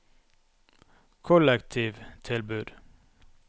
kollektivtilbud